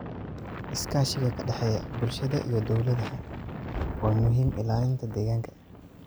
Iskaashiga ka dhexeeya bulshada iyo dowladaha waa muhiim ilaalinta deegaanka.